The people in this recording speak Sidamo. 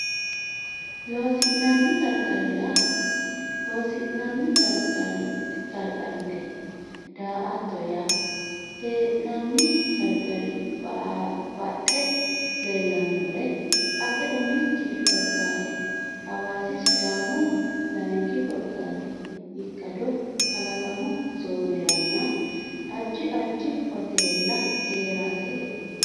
Loossinanni Qarqarrite daa atto yaa hee nanni qarqarira baxxe leellannore ate Umi korkaati Hawaasi Sidaamu Layinki korkaati ikkado kalaqamu Zooneranna Addi addi hoteella hee raseeti.